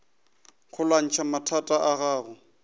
go lwantšha mathata a gago